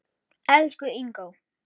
Elsku Ingó.